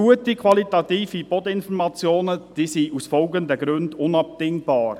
Qualitativ gute Bodeninformationen sind aus folgenden Gründen unabdingbar: